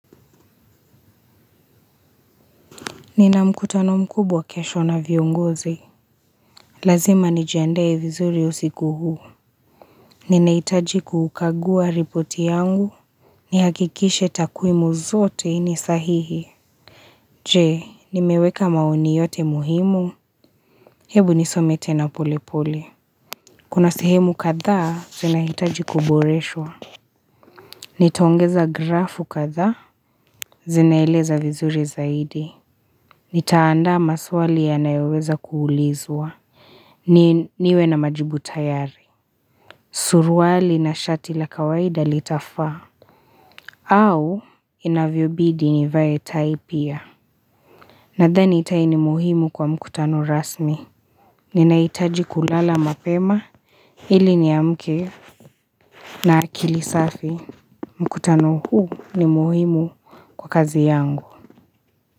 Nina mkutano mkubwa kesho na viongozi. Lazima nijiandae vizuri usiku huu. Ninaitaji kukagua ripoti yangu. Nihakikishe takwimu zote ni sahihi. Je, nimeweka maoni yote muhimu. Hebu nisome tena polepole. Kuna sehemu kadhaa, zinahitaji kuboreshwa. Nitaongeza grafu kadhaa, zinaeleza vizuri zaidi. Nitaandaa maswali yanayoweza kuulizwa. Niwe na majibu tayari Surwali na shati la kawaida litafaa au inavyo bidi nivae tai pia Nadhani tai ni muhimu kwa mkutano rasmi Ninaitaji kulala mapema ili niamke na akili safi mkutano huu ni muhimu kwa kazi yangu.